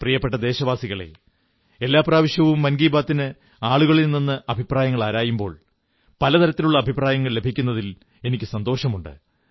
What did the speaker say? പ്രിയപ്പെട്ട ദേശവാസികളേ എല്ലാ പ്രാവശ്യവും മൻ കീ ബാത്തിന് ആളുകളിൽ നിന്ന് അഭിപ്രായങ്ങൾ ആരായുമ്പോൾ പല തരത്തിലുള്ള അഭിപ്രായങ്ങൾ ലഭിക്കുന്നതിൽ എനിക്കു സന്തോഷമുണ്ട്